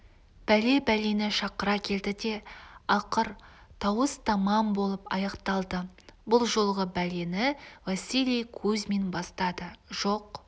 бәле бәлені шақыра келді де ақыр тауыс-тамам болып аяқталды бұл жолғы бәлені василий кузьмин бастады жоқ